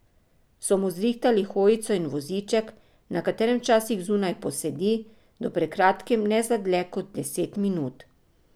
So mu zrihtali hojico in voziček, na katerem včasih zunaj posedi, do pred kratkim ne za dlje kot deset minut.